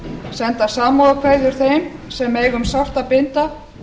senda samúðarkveðjur þeim sem eiga um sárt að binda